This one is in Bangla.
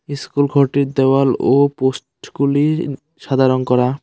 ইস্কুল ঘরটির দেওয়াল ও পোস্টগুলি সাদা রঙ করা।